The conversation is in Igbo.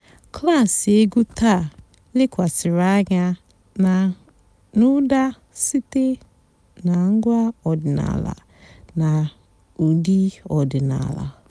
klásì ègwú tàà lékwasị́rị́ ànyá n'ụ́dà sìté nà ǹgwá ọ̀dị́náàlà nà ụ́dị́ ọ̀dị́náàlà.